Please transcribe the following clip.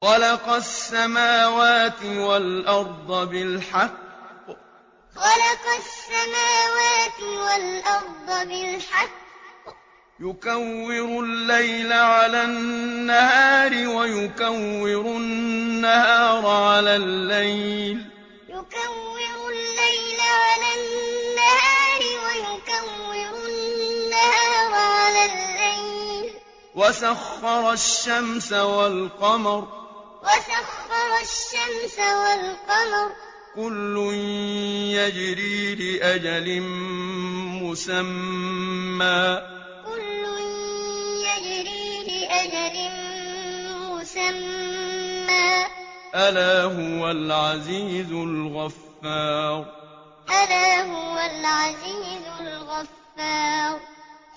خَلَقَ السَّمَاوَاتِ وَالْأَرْضَ بِالْحَقِّ ۖ يُكَوِّرُ اللَّيْلَ عَلَى النَّهَارِ وَيُكَوِّرُ النَّهَارَ عَلَى اللَّيْلِ ۖ وَسَخَّرَ الشَّمْسَ وَالْقَمَرَ ۖ كُلٌّ يَجْرِي لِأَجَلٍ مُّسَمًّى ۗ أَلَا هُوَ الْعَزِيزُ الْغَفَّارُ خَلَقَ السَّمَاوَاتِ وَالْأَرْضَ بِالْحَقِّ ۖ يُكَوِّرُ اللَّيْلَ عَلَى النَّهَارِ وَيُكَوِّرُ النَّهَارَ عَلَى اللَّيْلِ ۖ وَسَخَّرَ الشَّمْسَ وَالْقَمَرَ ۖ كُلٌّ يَجْرِي لِأَجَلٍ مُّسَمًّى ۗ أَلَا هُوَ الْعَزِيزُ الْغَفَّارُ